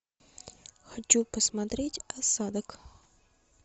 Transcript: хочу посмотреть осадок